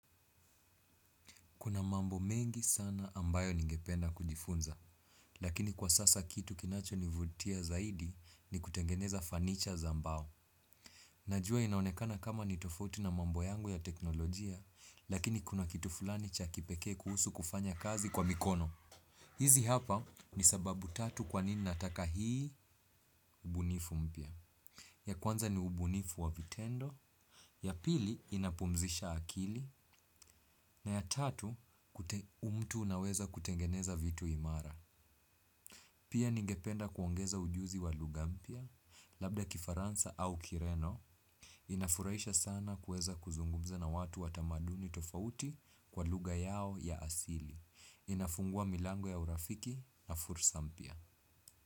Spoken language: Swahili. Kuna mambo mengi sana ambayo ningependa kujifunza, lakini kwa sasa kitu kinachonivutia zaidi ni kutengeneza fanicha za mbao. Najua inaonekana kama ni tofauti na mambo yangu ya teknolojia, lakini kuna kitu fulani cha kipekee kuhusu kufanya kazi kwa mikono. Hizi hapa ni sababu tatu kwa nini nataka hii ubunifu mpya. Ya kwanza ni ubunifu wa vitendo, ya pili inapumzisha akili, na ya tatu kute mtu unaweza kutengeneza vitu imara. Pia ningependa kuongeza ujuzi wa luhga mpya, labda kifaransa au kireno, inafurahisha sana kuweza kuzungumza na watu wa tamaduni tofauti kwa lugha yao ya asili. Inafungua milango ya urafiki na fursa mpya.